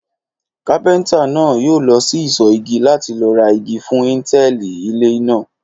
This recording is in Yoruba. Kápẹ́ntà náà yóò lọ sí ìsọ̀ igi láti lọ ra igi fún líńtẹ́ẹ̀lì ilé náà